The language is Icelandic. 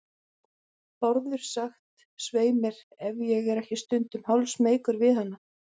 Bárður sagt, svei mér, ef ég er ekki stundum hálfsmeykur við hana.